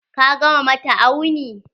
Ka gama mata auni?